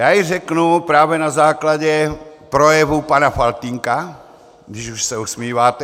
Já ji řeknu právě na základě projevu pana Faltýnka, když už se usmíváte.